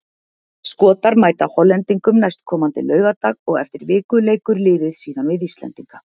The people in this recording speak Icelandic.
Skotar mæta Hollendingum næstkomandi laugardag og eftir viku leikur liðið síðan við Íslendinga.